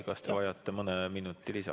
Kas te vajate mõne minuti lisa?